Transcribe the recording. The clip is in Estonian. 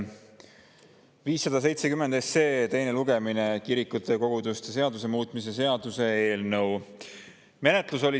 570 SE, kirikute ja koguduste seaduse muutmise seaduse eelnõu teine lugemine.